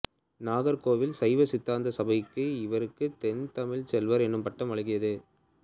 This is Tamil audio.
நாகர்கோவில் சைவசித்தாந்த சபை இவருக்கு தென்தமிழ்ச் செல்வர் எனும் பட்டம் வழங்கியது